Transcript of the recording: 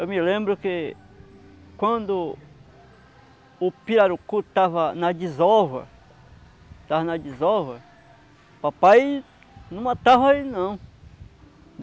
Eu me lembro que quando o pirarucu estava na desova estava na desova, papai não matava ele não.